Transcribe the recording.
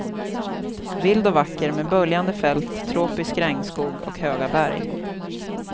Vild och vacker med böljande fält, tropisk regnskog och höga berg.